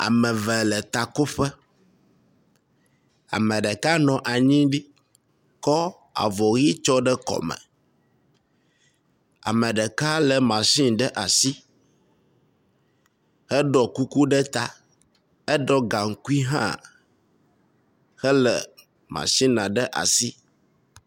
Ame eve le takoƒe, ameɖeka nɔ anyi ɖi kɔ avɔyi tsɔ ɖe kɔme, ameɖeka le machine ɖe asi, heɖɔ kuku ɖe ta heɖɔ gaŋkui hã hele machina ɖe asi.